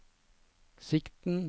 sikten